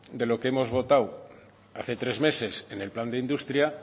de lo que hemos votado hace tres meses en el plan de industria